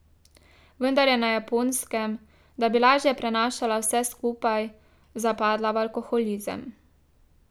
Vendar je na Japonskem, da bi lažje prenašala vse skupaj, zapadla v alkoholizem.